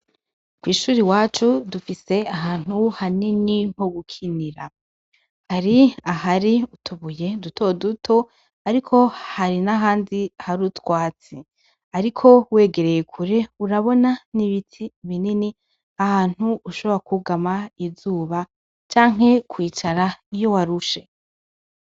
Kw'ishure iwacu dufise ahantu hanini ho gukinira, hari ahari utubuye duto duto ariko hari nahandi hari utwatsi. Ariko wegereye kure urabona nibiti binini ahantu ushobora kwugama izuba canke kwivara iyo waruahe.